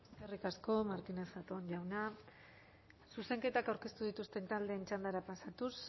eskerrik asko martínez zatón jauna zuzenketak aurkeztu dituzten taldeen txandara pasatuz